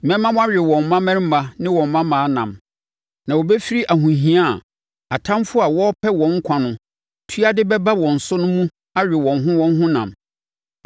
Mɛma wɔawe wɔn mmammarima ne wɔn mmammaa nam, na wɔbɛfiri ahohia a atamfoɔ a wɔrepɛ wɔn nkwa no tua de bɛba wɔn so no mu awe wɔn ho wɔn ho nam.’